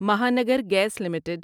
Mahanagar gas limited